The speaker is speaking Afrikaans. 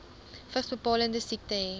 vigsbepalende siekte hê